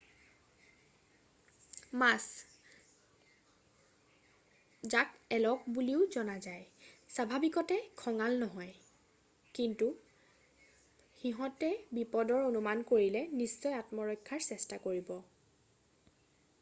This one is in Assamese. মছ যাক এলক বুলিও জনা যায় স্বাভাৱিকতে খঙাল নহয় কিন্তু সিহঁতে বিপদৰ অনুমান কৰিলে নিশ্চয় আত্মৰক্ষাৰ চেষ্টা কৰিব।